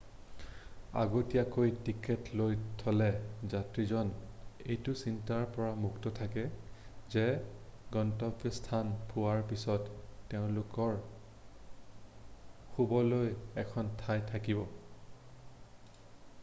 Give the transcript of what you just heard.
আগতীয়াকৈ টিকট লৈ থ'লে যাত্ৰীজন এইটো চিন্তাৰ পৰা মুক্ত থাকে যে গন্তব্যস্থান পোৱাৰ পিছত তেওঁলোকৰ শুবলৈ এখন ঠাই থাকিব